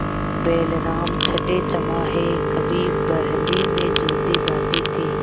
बैलराम छठेछमाहे कभी बहली में जोते जाते थे